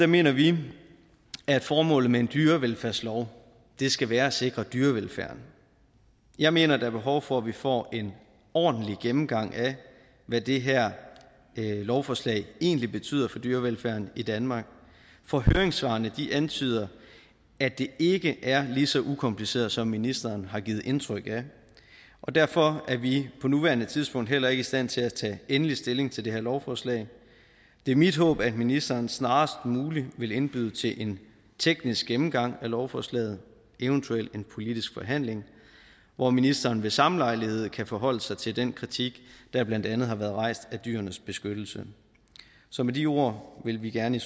mener vi at formålet med en dyrevelfærdslov skal være at sikre dyrevelfærden jeg mener at der er behov for at vi får en ordentlig gennemgang af hvad det her lovforslag egentlig betyder for dyrevelfærden i danmark for høringssvarene antyder at det ikke er lige så ukompliceret som ministeren har givet indtryk af og derfor er vi på nuværende tidspunkt heller ikke i stand til at tage endelig stilling til det her lovforslag det er mit håb at ministeren snarest muligt vil indbyde til en teknisk gennemgang af lovforslaget eventuelt en politisk forhandling hvor ministeren ved samme lejlighed kan forholde sig til den kritik der blandt andet har været rejst af dyrenes beskyttelse så med de ord vil vi gerne i